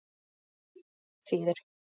Ég veit hvað það þýðir.